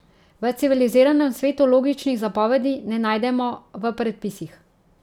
V civiliziranem svetu logičnih zapovedi ne najdemo v predpisih!